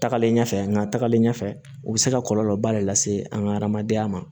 Tagalen ɲɛfɛ nka tagalen ɲɛfɛ u bɛ se ka kɔlɔlɔba de lase an ka adamadenya ma